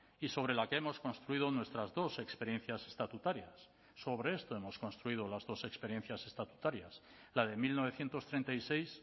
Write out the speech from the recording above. y sobre la que hemos construido nuestras dos experiencias estatutarias sobre esto hemos construido las dos experiencias estatutarias la de mil novecientos treinta y seis